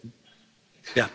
Herr Präsident!